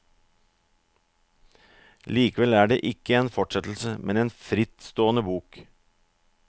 Likevel er det ikke en fortsettelse, men en frittstående bok.